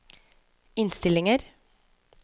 innstillinger